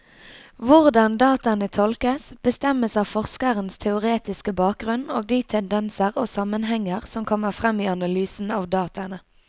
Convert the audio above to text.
Hvordan dataene tolkes, bestemmes av forskerens teoretiske bakgrunnen og de tendenser og sammenhenger som kommer frem i analysen av dataene.